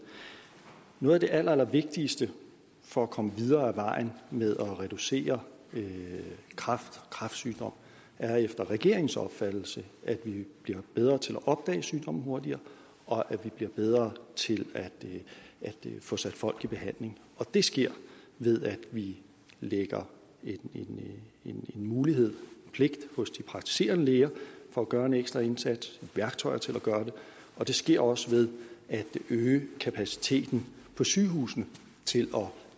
noget af det allerallervigtigste for at komme videre ad vejen med at reducere kræftsygdom er efter regeringens opfattelse at vi bliver bedre til at opdage sygdommen hurtigere og at vi bliver bedre til at få sat folk i behandling og det sker ved at vi lægger en mulighed pligt hos de praktiserende læger for at gøre en ekstra indsats værktøjer til at gøre det og det sker også ved at øge kapaciteten på sygehusene